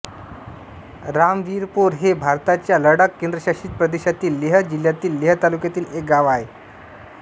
रामविरपोर हे भारताच्या लडाख केंद्रशासित प्रदेशातील लेह जिल्हातील लेह तालुक्यातील एक गाव आहे